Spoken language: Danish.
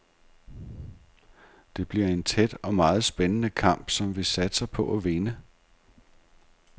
Det bliver en tæt og meget spændende kamp, som vi satser på at vinde.